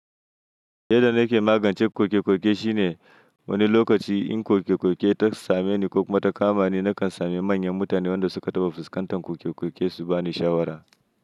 Yadda nake magance koke-koke shine wani lokaci in koke-koke ta same ni ko kuma ta kama ni, na kan same manyan mutane waɗanda suka taɓa fuskantar koke-koke su ba ni shawara.